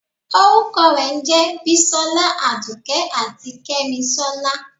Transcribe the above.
orukọ re jẹ bísòla, àdùké atí kemísólá.